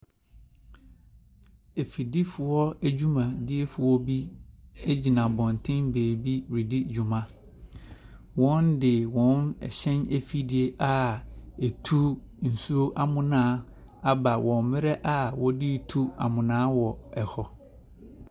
Afidifoɔ dwumadiefoɔ bi gyina abɔnten baabi redi dwuma. Wɔde wɔn hyɛn afidie a ɛtu nsuo amena aba wɔ mmera a wɔde retu amena wɔ hɔ.